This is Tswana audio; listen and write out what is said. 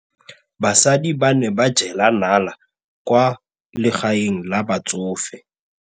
Basadi ba ne ba jela nala kwaa legaeng la batsofe.